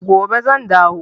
Gobe zan dawo.